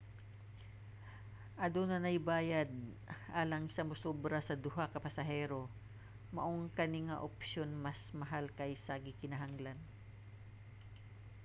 aduna nay bayad alang sa musobra sa duha ka pasahero maong kani nga opsyon mas mahal kaysa gikinahanglan